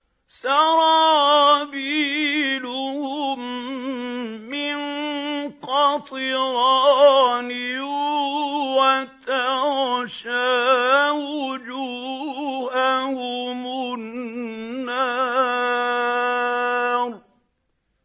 سَرَابِيلُهُم مِّن قَطِرَانٍ وَتَغْشَىٰ وُجُوهَهُمُ النَّارُ